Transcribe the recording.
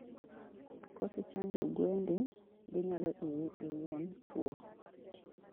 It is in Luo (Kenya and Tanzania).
kokichanjo gwendi, ginyalo iyi iuon tuwo.